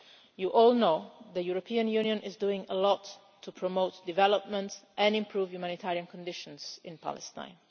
You all know that the European Union is doing a lot to promote development and improve humanitarian conditions in Palestine.